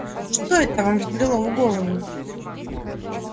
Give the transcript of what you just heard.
что это вам взбрело в голову